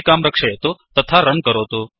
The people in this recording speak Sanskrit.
सञ्चिकां रक्षयतु तथा रन् करोतु